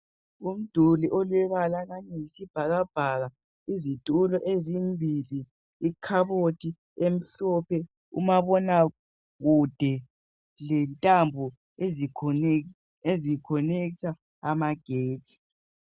Umduli olombala oyisibhakabhaka, izitulo ezimbili, ikhabothi emhlophe, umabonakude lentambo ezikhonekitha amagetsi.